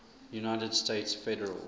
united states federal